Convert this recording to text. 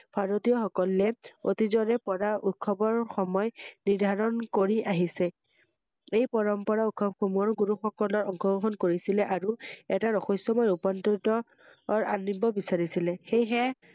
ভাৰাতীয়সকলে অতীজৰে পৰা উৎসৱৰ সময় নিৰ্ধাৰণ কৰি আহিছে ৷এই পৰম্পৰা উৎসৱ সমূহৰ গুৰুসকলে অংশগ্ৰহণ কৰিছেলে আৰু এটা ৰহস্যময় ৰুপান্তৰ আনিব বিছাৰিছিলে সেয়েহ